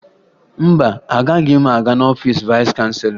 Mba, agaghị m aga n'ọfiisi vayịs chanselọ